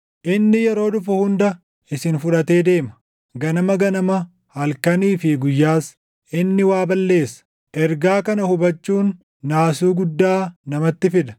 Inni yeroo dhufu hunda isin fudhatee deema; ganama ganama halkanii fi guyyaas, // inni waa balleessa.” Ergaa kana hubachuun naasuu guddaa namatti fida.